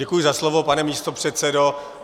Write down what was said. Děkuji za slovo, pane místopředsedo.